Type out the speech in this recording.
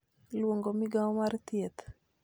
luongo Migao mar Thieth